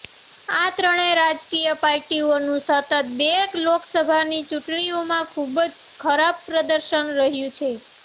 આ ત્રણેય રાજકીય પાર્ટીઓનું સતત બે લોકસભાની ચૂંટણીમાં ખૂબ જ ખરાબ પ્રદર્શન રહ્યું છે